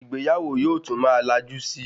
Ìgbéyàwó yóò tún má lajú síi